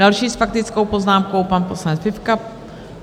Další s faktickou poznámkou - pan poslanec Fifka.